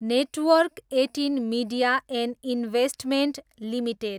network एटिन media and investments limited